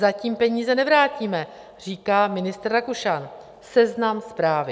Zatím peníze nevrátíme, říká ministr Rakušan - Seznam Zprávy.